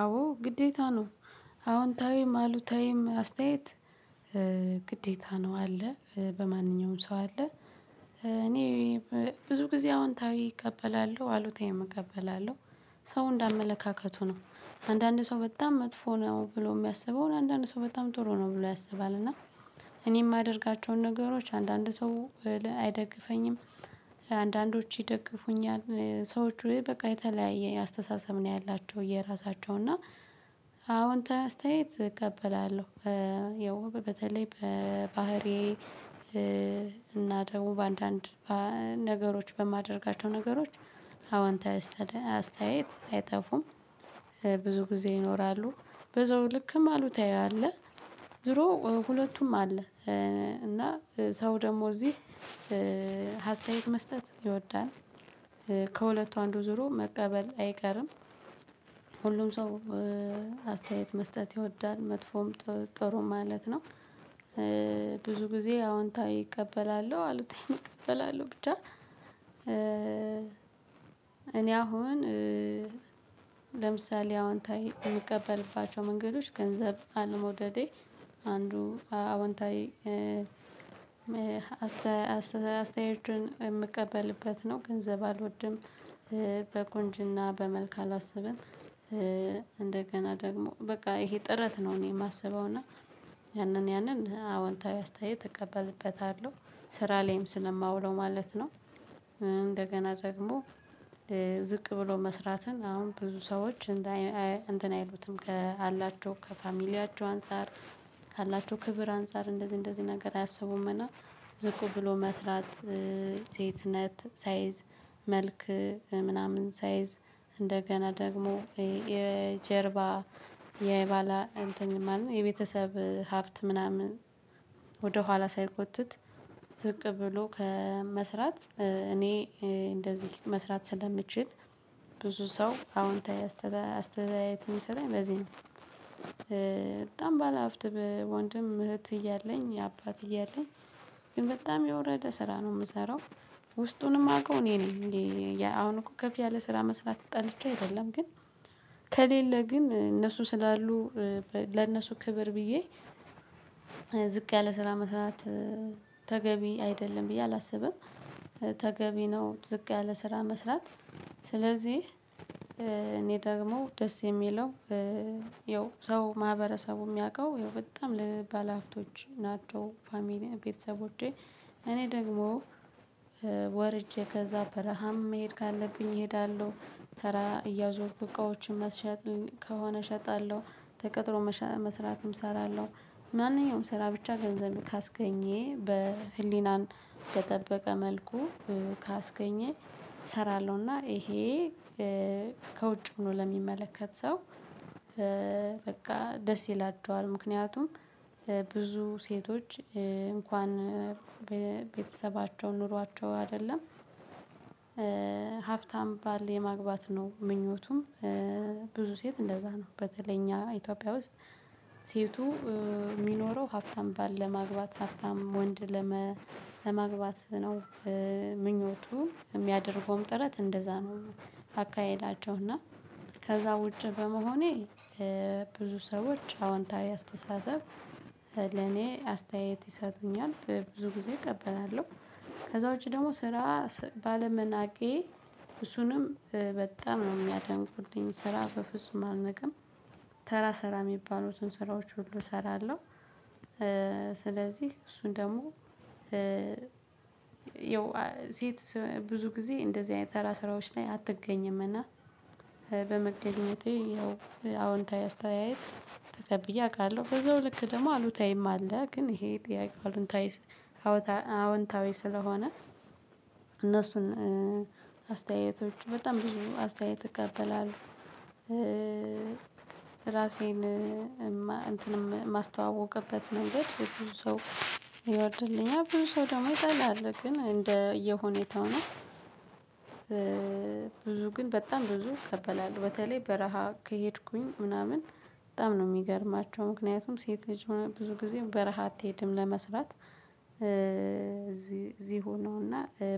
አዎ ግዴታ ነው። አዎንታዊም አሉታዊም አስተያየት። ግዴታ ነው አለ በማንኛውም ሰው አለ። እኔ ብዙ ጊዜ አዎንታዊ እቀበላለሁ አሉታዊ እቀበላለሁ። ሰው እንደ አመለካከቱ ነው አንዳንድ ሰው በጣም መጥፎ ነው ብሎ የሚያስበውን አንዳንድ ሰው በጣም ጥሩ ነው ብሎ ያስባል። እና እኔ የማደርጋቸውን ነገሮች አንዳንድ ሰው አይደግፈኝም። አንዳንዶቹ ይደግፉኛል ሰዎቹ በቃ የተለያየ አስተሳሰብ ነው ያላቸው የራሳቸው እና አዎንታዊ አስተያየት እቀበላለሁ። ያው በተለይ በባህሪዬ እና ደግሞ በአንዳንድ ነገሮች በማደርጋቸው ነገሮች አዎንታዊ አስተያየት አይጠፉም። ብዙ ጊዜ ይኖራሉ በዛው ልክም አሉታዊ አለ። ዙሮ ሁለቱም አለ። እና ሰው ደግሞ እዚህ ሀስተያየት መስጠት ይወዳል። ከሁለቱ አንዱ ዙሮ መቀበል አይቀርም። ሁሉም ሰው አስተያየት መስጠት ይወዳል መጥፎም ጥሩ ማለት ነው። ብዙ ጊዜ አዎንታዊ እቀበላለሁ አሉታዊም እቀበላለሁ ብቻ። እኔ አሁን ለምሳሌ አዎንታዊ የምቀበልባቸው መንገዶች ገንዘብ አለመውደዴ አንዱ አወንታዊ አስተያየችን የምቀበልበት ነው ገንዘብ አልወድም። በቁንጅና በመልክ አላስብም። እንደገና ደግሞ በቃ ይሄ ጥረት ነው እኔ የማስበው እና ያንን ያንን አዎንታዊ አስተያየት እቀበልበታለሁ ስራ ላይም ስለማውለው ማለት ነው። እንደገና ደግሞ ዝቅ ብሎ መስራትን አሁን ብዙ ሰዎች እንትን አይሉትም ከአላቸው ከፋሚሊያቸው አንፃር ካላቸው ክብር አንፃር እንደዚህ እንደዚህ ነገር አያሰቡም። እና ዝቁ ብሎ መስራት ሴትነት ሳይዝ መልክ ምናምን ሳይዝ እንደገና ደግሞ የጀርባ የባላ እንትን ማለት ነው የቤተሰብ ሀብት ምናምን። ወደ ኋላ ሳይጎትት ዝቅ ብሎ ከመስራት እኔ እንደዚህ መስራት ስለምችል ብዙ ሰው አዎንታዊ አስተያየት ሚሰጠኝ በዚህ ነው። በጣም ባለሀብት በወንድም እህት እያለኝ አባት እያለኝ ግን በጣም የወረደ ስራ ነው የምሰራው። ውስጡንም ማውቀው እኔ ነኝ እ ያ አሁን እኮ ከፍ ያለ ስራ መስራት ጠልቼ አይደለም። ግን ከሌለ ግን እነሱ ስላሉ ለእነሱ ክብር ብዬ ዝቅ ያለ ስራ መስራት ተገቢ አይደለም ብዬ አላስብም። ተገቢ ነው ዝቅ ያለ ስራ መስራት። ስለዚህ እኔ ደግሞ ደስ የሚለው ይው ሰው ማህበረሰቡ የሚያውቀው ይው በጣም ባለአፍቶች ናቸው። ፋሚሊ ቤተሰቦቸ እኔ ደግሞ ወርጄ ከዛ በረሃም መሄድ ካለብኝ እሄዳለሁ። ተራ እያዞርኩ እቃዎችን መሸጥ ከሆነ እሸጣለሁ። ተቀጥሮ መስራትም እሰራለሁ። ማንኛውም ስራ ብቻ ገንዘብ ካስገኘ በህሊናን በጠበቀ መልኩ ካስገኘ እሰራለሁና። ይሄ ከውጭ ሆኖ ለሚመለከት ሰው በቃ ደስ ይላቸዋል። ምክንያቱም ብዙ ሴቶች እንኳን ቤተሰባቸው ኖሯቸው አይደለም። ሀብታም ባል የማግባት ነው ምኞቱም። ብዙ ሴት እንደዛ ነው በተለይ እኛ ኢትዮጵያ ውስጥ። ሴቱ ሚኖረው ሀብታም ባል ለማግባት ሀብታም ወንድ ለመግባት ነው። ምኞቱ የሚያደርገውም ጥረት እንደዛ ነው። አካሄዳቸው እና ከዛ ውጪ በመሆኔ ብዙ ሰዎች አዎንታዊ አስተሳሰብ ለኔ አስተያየት ይሰጡኛል። ብዙ ጊዜ እቀበላለሁ። ከዛ ውጪ ደግሞ ስራ ባለመናቄ እሱንም በጣም ነው የሚያደንቁልኝ ስራ በፍጹም አልንቅም። ተራ ሰራ የሚባሉትን ስራዎች ሁሉ እሰራለሁ። ስለዚህ እሱን ደግሞ ያው ሴት ብዙ ጊዜ እንደዚህ አይነት ተራ ስራዎች ላይ አትገኝም። በመገኘቴ ያው አዎንታዊ አስተያየት ተጠብዬ አውቃለሁ በዛው ልክ ደግሞ አሉታዊም አለ። ግን ይሄ ጥያቄ አዎንታዊ አዎንታዊ ስለሆነ እነሱን አስተያየቶች በጣም ብዙ አስተያየት እቀበላለሁ እራሴን እንትንም ማስተዋወቅበት መንገድ ብዙ ሰው ይወድልኛል ብዙ ሰው ደግሞ ይጠላል ግን እንደየ ሁኔታው ነው። ብዙ ግን በጣም ብዙ እቀበላለሁ በተለይ በረሃ ከሄድኩኝ ምናምን በጣም ነው የሚገርማቸው። ምክንያቱም ሴት ልጅ ብዙ ጊዜ በረሃ አትሄድም ለመስራት። እዚህ እዚህ ሆኖ እና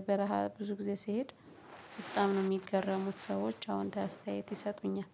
በረሃ ብዙ ጊዜ ሲሄድ በጣም ነው የሚገረሙት። ሰዎች አዎንታዊ አስተያየት ይሰጡኛል